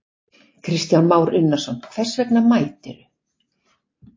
Kristján Már Unnarsson: Hvers vegna mætir þú?